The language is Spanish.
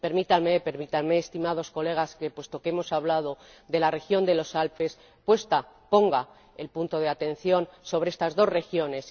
Permitánme, estimados colegas que, puesto que hemos hablado de la región de los Alpes, ponga el punto de atención sobre estas dos regiones.